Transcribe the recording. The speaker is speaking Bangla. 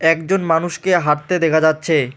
একজন মানুষকে হাঁটতে দেখা যাচ্ছে।